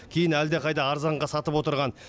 кейін әлдеқайда арзанға сатып отырған